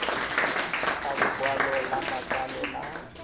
sa lokwalo la matsalo la